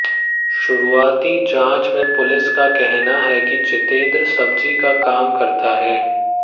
शुरुआती जांच में पुलिस का कहना है कि जितेंद्र सब्जी का काम करता है